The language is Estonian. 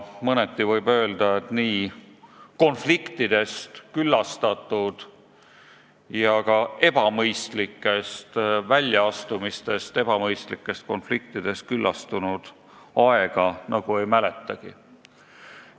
Mõneti võib öelda, et nii konfliktidest ja ebamõistlikest väljaastumistest küllastunud aega ei mäletagi.